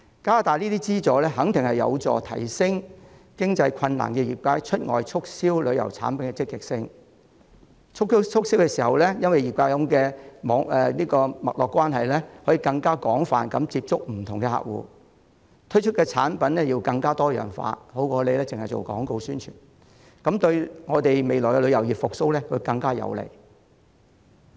加大相關資助肯定有助提升出現財政困難的業界對外促銷旅遊產品的積極性，擁有脈絡關係的業界在促銷時可以更廣泛地接觸不同客戶，推出的產品更多樣化，勝過只進行廣告宣傳，對我們旅遊業未來的復蘇更有利。